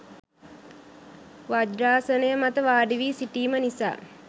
වජ්‍රාසනය මත වාඩිවි සිටීම නිසා